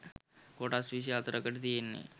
කොටස් විසි හතරකටයි තියෙන්නේ